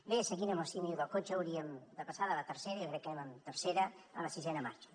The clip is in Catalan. bé seguint amb el símil del cotxe hauríem de passar de la tercera jo crec que anem amb tercera a la sisena marxa